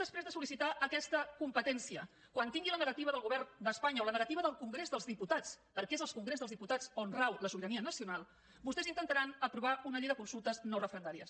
després de sol·tència quan tinguin la negativa del govern d’espanya o la negativa del congrés dels diputats perquè és al congrés dels diputats on rau la sobirania nacional vostès intentaran aprovar una llei de consultes no referendàries